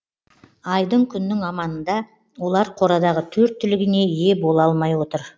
айдың күннің аманында олар қорадағы төрт түлігіне ие бола алмай отыр